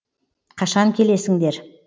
қашан келесіңдер